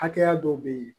Hakɛya dɔw be yen